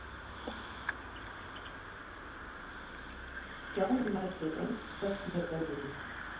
Stjáni mældi Engilbert með augunum.